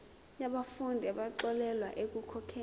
yabafundi abaxolelwa ekukhokheni